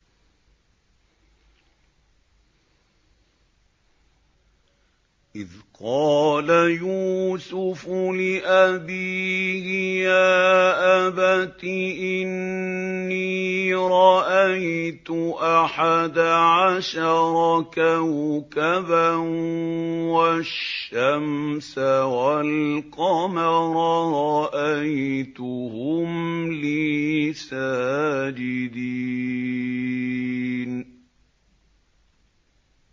إِذْ قَالَ يُوسُفُ لِأَبِيهِ يَا أَبَتِ إِنِّي رَأَيْتُ أَحَدَ عَشَرَ كَوْكَبًا وَالشَّمْسَ وَالْقَمَرَ رَأَيْتُهُمْ لِي سَاجِدِينَ